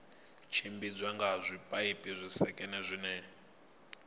tshimbidzwa nga zwipaipi zwisekene zwine